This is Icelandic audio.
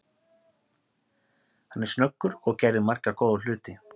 Hann er snöggur og gerði marga góða hluti.